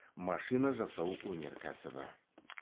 машина жасау өнеркәсібі